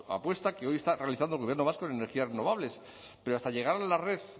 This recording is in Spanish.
apuesta que hoy está realizando el gobierno vasco en energías renovables pero hasta llegar a la red